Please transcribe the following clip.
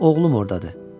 Oğlum ordadır.